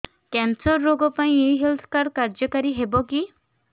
cancer ରୋଗ ପାଇଁ ଏଇ ହେଲ୍ଥ କାର୍ଡ କାର୍ଯ୍ୟକାରି ହେବ କି